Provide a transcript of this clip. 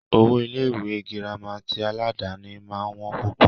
Owó Ilé ìwé gírámà tí aládàni máà ń wọ́n púpọ̀.